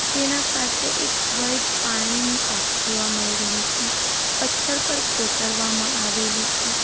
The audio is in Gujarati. તેના પાસે એક વાઈટ પાણીની ટાંકી જોવા મળી રહે છે પથ્થર પર કોતરવા માં આવેલું છે.